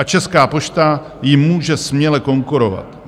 A Česká pošta jim může směle konkurovat.